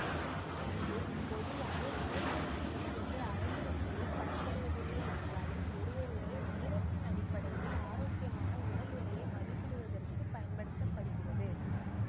இது பொதுவாக உடற் கொழுப்பு விகிதத்தை அளவிடு செய்ய பயன்படுத்தப்படுவதில்லை என்றாலும் ஒருவருடைய உயரத்தின் அடிப்படையில் ஆரோக்கியமான உடல் எடையை மதிப்பிடுவதற்குப் பயன்படுத்த படுகிறது